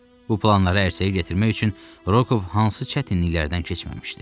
Bu planları ərsəyə gətirmək üçün Rokov hansı çətinliklərdən keçməmişdi.